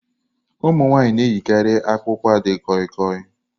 Ụmụ nwanyị na-eyikarị akpukpa di koi-koi.